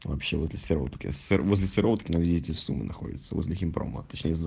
вообще в этой сероутке вообще возле сероутки найдите сумму находится возле химпрома точне сза